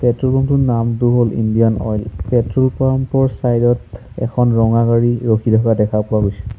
Petrol pump ৰ টোৰ নামটো হল ইণ্ডিয়ান অইল পেট্ৰ'ল পাম্প ৰ চাইড ত এখন ৰঙা গাড়ী ৰখি থাকা দেখা পোৱা গৈছে।